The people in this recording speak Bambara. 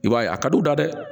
I b'a ye a ka d'u da dɛ